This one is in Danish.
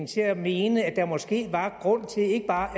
til at mene at der måske var grund til ikke bare